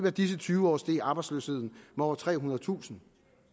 af disse tyve år steg arbejdsløsheden med over trehundredetusind